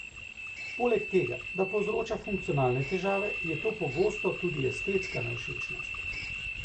Poleg tega, da povzroča funkcionalne težave, je to pogosto tudi estetska nevšečnost.